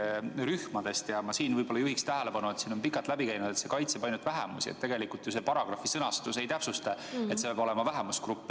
Ma juhin siinkohal tähelepanu sellele, et siit on pikalt läbi käinud, justkui see paragrahv kaitseks ainult vähemusi, kuigi tegelikult selle sõnastus ju ei täpsusta, et see peab olema vähemusgrupp.